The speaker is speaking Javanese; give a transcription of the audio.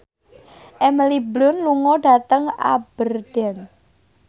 Emily Blunt lunga dhateng Aberdeen